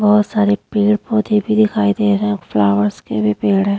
बहोत सारे पेड़-पौधे भी दिखाई दे रहे है फ्लावर्स के भी पेड़ है।